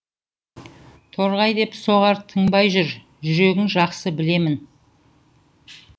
торғай деп соғар тынбай бір жүрегің жақсы білемін